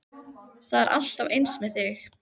Það er alltaf eins með þig!